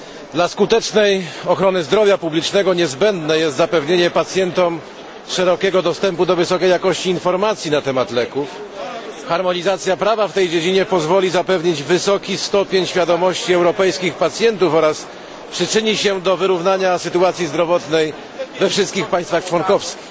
Dla skutecznej ochrony zdrowia publicznego niezbędne jest zapewnienie pacjentom szerokiego dostępu do wysokiej jakości informacji na temat leków. Harmonizacja prawa w tej dziedzinie pozwoli zapewnić wysoki stopień świadomości europejskich pacjentów oraz przyczyni się do wyrównania sytuacji zdrowotnej we wszystkich państwach członkowskich.